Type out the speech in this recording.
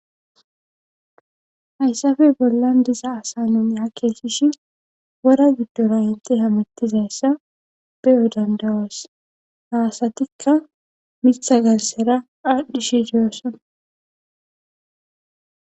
Hayssafey bollan diza asanon ha keessishi wora giddora inte hamettizayssa beyo dandawos haasatikka mitha galsera aadhdhishi diyosson.